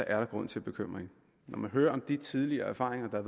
er der grund til bekymring og når man hører om de tidligere erfaringer